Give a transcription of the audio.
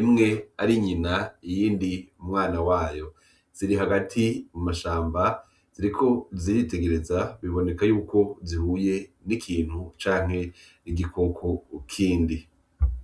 imwe ari nyina iyindi umwana wayo , ziri hagati mu mashamba ziriko ziritegereza biboneka yuko zihuye n'ikintu canke igikoko kindi.